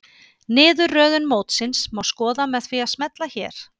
Niðurröðun mótsins má skoða með því að smella hér